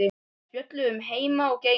Við spjölluðum um heima og geima.